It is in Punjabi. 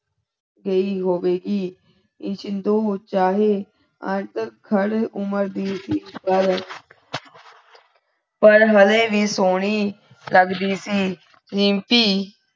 ਪਰ ਹੱਲੇ ਵੀ ਸੋਹਣੀ ਲਗਦੀ ਸੀ ਰੀਮਪੀ